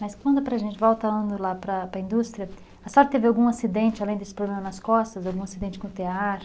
Mas quando é para a gente, voltando lá para para a indústria, a senhora teve algum acidente, além desse problema nas costas, algum acidente com o tear?